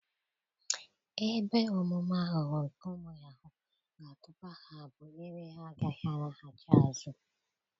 Ebe omume aghụghọ nke ụmụ yahuu ga-atụba ha bụ ebe ha a gaghị alaghachi azụ.